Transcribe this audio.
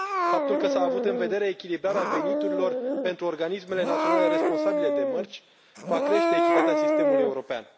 Faptul că s a avut în vedere echilibrarea veniturilor pentru organismele naționale responsabile de mărci va crește echitatea sistemului european.